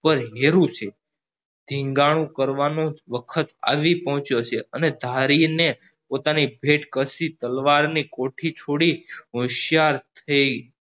પણ હેરું છે ઢેંગનું કરવાનું વખત આવી પહોંચ્યો છે અને ધરીને પોતાની તલવારની કોઠી છોડી હોશિયાર થઇ